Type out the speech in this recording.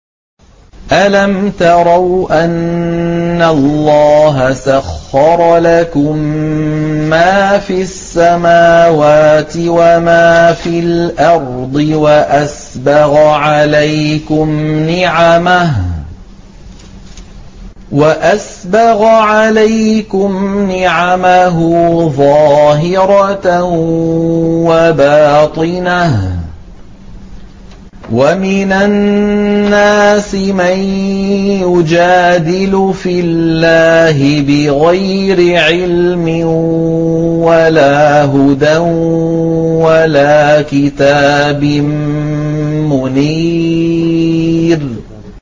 أَلَمْ تَرَوْا أَنَّ اللَّهَ سَخَّرَ لَكُم مَّا فِي السَّمَاوَاتِ وَمَا فِي الْأَرْضِ وَأَسْبَغَ عَلَيْكُمْ نِعَمَهُ ظَاهِرَةً وَبَاطِنَةً ۗ وَمِنَ النَّاسِ مَن يُجَادِلُ فِي اللَّهِ بِغَيْرِ عِلْمٍ وَلَا هُدًى وَلَا كِتَابٍ مُّنِيرٍ